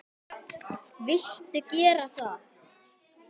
Viltu gera það?